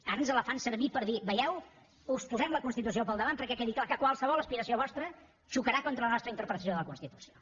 ara ens la fan servir per dir veieu us posem la constitució al davant perquè quedi clar que qualsevol aspiració vostra xocarà contra la nostra interpretació de la constitució